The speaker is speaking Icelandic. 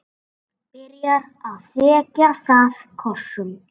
Byrjar að þekja það kossum.